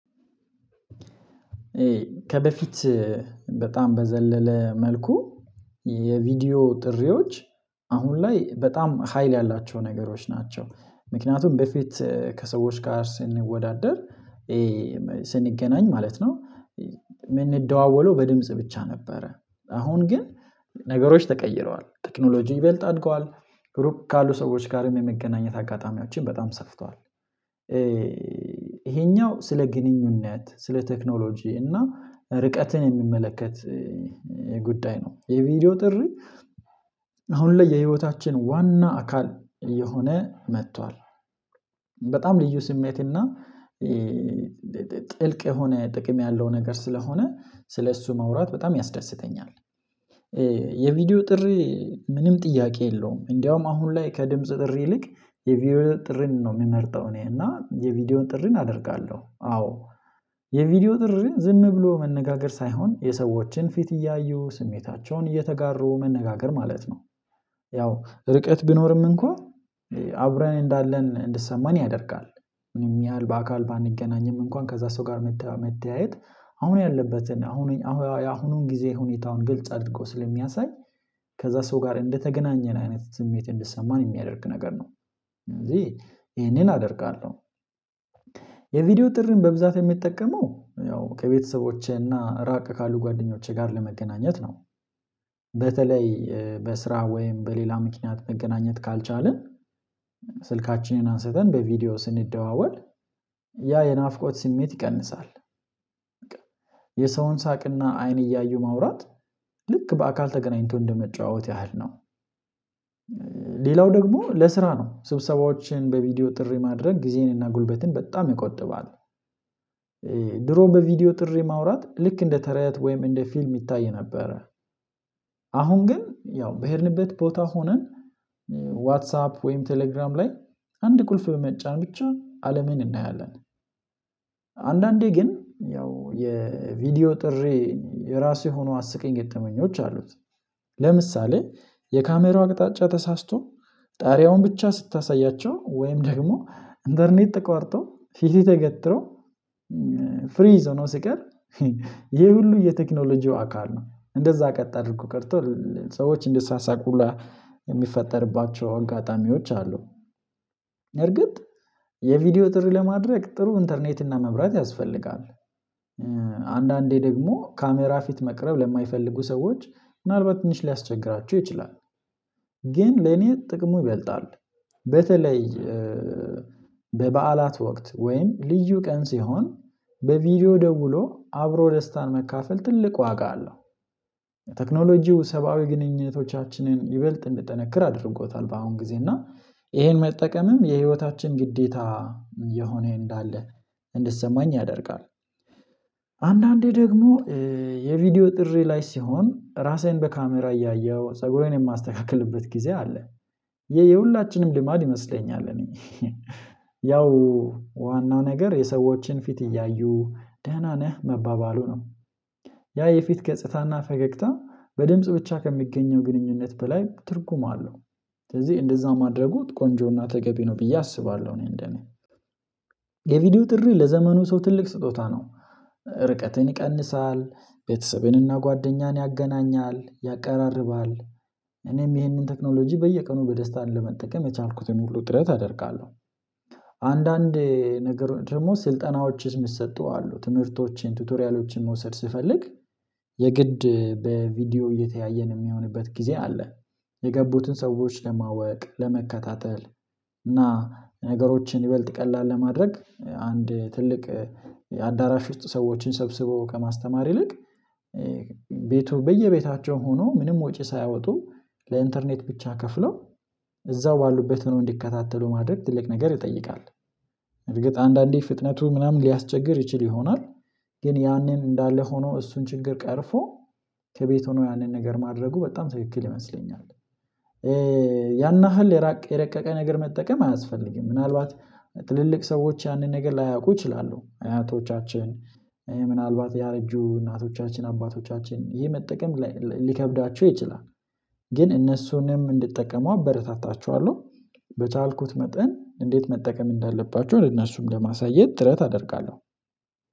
ከበፊት በጣም በዘለለ መልኩ የቪዲዮ ጥሪዎች አሁን ላይ በጣም ሀይል ያላቸው ነገሮች ናቸው። ምክንያቱም በፊት ከሰዎች ጋር ስንወዳደር ስንገናኝ ማለት ነው ምንደዋወለው በድምጽ ብቻ ነበረ። አሁን ግን ነገሮች ተቀይረዋል። ቴክኖሎጂው ይበልጥ አድገዋል፣ ሩቅ ካሉ ሰዎች ጋርም የመገናኘት አጋጣሚዎችን በጣም ሰፍቷል። ይሄኛው ስለ ግንኙነት ስለ ቴክኖሎጂ እና ርቀትን የሚመለከት ጉዳይ ነው። የቪዲዮ ጥሪ አሁን ላይ የህይወታችን ዋና አካል እየሆነ መጥቷል። በጣም ልዩ ስሜትና ጥልቅ የሆነ ጥቅም ያለው ነገር ስለሆነ ስለእሱ ማውራት በጣም ያስደስተኛል። የቪዲዮ ጥሪ ምንም ጥያቄ የለውም። እንዲያውም አሁን ላይ ከድምጽ ጥሪ ይልቅ የቪዲዮ ጥሪን ነው የሚመርጠው እኔ። እና የቪዲዮ ጥሪን አደርጋለሁ። አዎ የቪዲዮ ጥሪ ዝም ብሎ መነጋገር ሳይሆን የሰዎችን ፊት እያዩ ስሜታቸውን እየተጋሩ መነጋገር ማለት ነው። ያው ርቀት ቢኖርም እንኳን አብረን እንዳለን እንድሰማን ያደርጋል። ምንም ያህል በአካል ባንገናኝም እንኳን ከዛ ሰው ጋር መተያየት አሁን ያለበት አሁን ያሁኑን ጊዜ ሁኔታውን ግልጽ አድርጎ ስለሚያሳይ ከዛ ሰው ጋር እንደተገናኘን አይነት ስሜት እንደሰማን የሚያደርግ ነገር ነው። ስለዚህ ይሄንን አደርጋለሁ። የቪዲዮ ጥሪን በብዛት የምጠቀመው ያው ከቤተሰቦቼና ራቅ ካሉ ጓደኞቼ ጋር ለመገናኘት ነው። በተለይ በስራ ወይም በሌላ ምክንያት መገናኘት ካልቻልን ስልካችንን አንስተን በቪዲዮ ስንደዋወል ያ የናፍቆት ስሜት ይቀንሳል። የሰውን ሳቅና አይን እያዩ ማውራት ልክ በአካል ተገናኝቶ እንደመጨዋወት ያህል ነው። ሌላው ደግሞ ለስራ ነው። ስብሰባዎችን በቪዲዮ ጥሪ ማድረግ ጊዜንና ጉልበትን በጣም ይቆጥባል። ድሮ በቪዲዮ ጥሪ ማውራት ልክ እንደ ተረት ወይም እንደ ፊልም ይታይ ነበረ። አሁን ግን ያው በሄድንበት ቦታ ሆነን ዋትሳፕ ወይም ቴሌግራም ላይ አንድ ቁልፍ በመጫን ብቻ አለምን እናያለን። አንዳንዴ ግን ያው የቪዲዮ ጥሪ የራሱ የሆኑ አስቂኝ ገጠመኞች አሉት። ለምሳሌ የካሜራው አቅጣጫ ተሳስቶ ጣሪያውን ብቻ ስታሳያቸው ወይም ደግሞ ኢንተርኔት ተቋርጦ ፊትህ ተገትሮ ፍሪዝ ሆኖ ሲቀር ይሄ ሁሉ የቴክኖሎጂው አካል ነው። እንደዛ ቀጥ አድርጎ ከርቶ ሰዎች እንዲሳሳቁ ሁላ የሚፈጠርባቸው አጋጣሚዎች አሉ። በእርግጥ የቪዲዮ ጥሪ ለማድረግ ጥሩ ኢንተርኔት እና መብራት ያስፈልጋል። አንዳንዴ ደግሞ ካሜራ ፊት መቅረብ ለማይፈልጉ ሰዎች ምናልባት ትንሽ ሊያስቸግራቸው ይችላል። ግን ለኔ ጥቅሙ ይበልጣል። በተለይ በበዓላት ወቅት ወይም ልዩ ቀን ሲሆን በቪዲዮ ደውሎ አብሮ ደስታን መካፈል ትልቅ ዋጋ አለው። የቴክኖሎጂው ሰብአዊ ግንኙነቶቻችንን ይበልጥ እንዲጠነክር አድርጎታል። በአሁን ጊዜ እና ይሄን መጠቀምም የህይወታችን ግዴታ የሆነ እንዳለ እንዲሰማኝ ያደርጋል። አንዳንዴ ደግሞ የቪዲዮ ጥሪ ላይ ሲሆን ራሴን በካሜራ እያየሁ ፀጉሬን የማስተካክልበት ጊዜ አለ። የሁላችንም ልማድ ይመስለኛል። እኔ ያው ዋናው ነገር የሰዎችን ፊት እያዩ ደህና ነህ መባባሉ ነው። ያ የፊት ገጽታና ፈገግታ በድምጽ ብቻ ከሚገኘው ግንኙነት በላይ ትርጉም አለው። ስለዚህ እንደዛ ማድረጉት ቆንጆና ተገቢ ነው ብዬ አስባለሁ። እኔ እንደኔ የቪዲዮ ጥሪ ለዘመኑ ሰው ትልቅ ስጦታ ነው። ርቀትን ይቀንሳል፣ ቤተሰቤንና ጓደኛን ያገናኛል፣ ያቀራርባል። እኔም ይህንን ቴክኖሎጂ በየቀኑ በደስታ ለመጠቀም የቻልኩትን ሁሉ ጥረት አደርጋለሁ። አንዳንድ ነገር ደግሞ ስልጠናዎችስ የሚሰጡ አሉ። ትምህርቶቼን፣ ቱቶሪያሎችን መውሰድ ስፈልግ የግድ በቪዲዮ እየተያየን የሚሆንበት ጊዜ አለ። የገቡትን ሰዎች ለማወቅ፣ ለመከታተል እና ነገሮችን ይበልጥ ቀላል ለማድረግ አንድ ትልቅ አዳራሽ ውስጥ ሰዎችን ሰብስቦከማስተማር ይልቅ ቤቱ በየቤታቸው ሆኖ ምንም ወጪ ሳያወጡ ለኢንተርኔት ብቻ ከፍለው እዛው ባሉበት ሆነው እንዲከታተሉ ማድረግ ትልቅ ነገር ይጠይቃል። እርግጥ አንዳንዴ ፍጥነቱ ምናምን ሊያስቸግር ይችል ይሆናል። ግን ያንን እንዳለ ሆኖ እሱን ችግር ቀርፎ ከቤት ሆኖ ያንን ነገር ማድረጉ በጣም ትክክል ይመስለኛል። ያን ያህል የራቀ የረቀቀ ነገር መጠቀም አያስፈልግም። ምናልባት ትልልቅ ሰዎች ያንን ነገር ላያውቁ ይችላሉ። አያቶቻችን ምናልባት ያረጁ እናቶቻችን አባቶቻችን ይሄ መጠቀም ሊከብዳችሁ ይችላል። ግን እነሱንም እንዲጠቀሙ አበረታታቸዋለሁ። በቻልኩት መጠን እንዴት መጠቀም እንዳለባቸው ለእነሱም ለማሳየት ትረት አደርጋለሁ።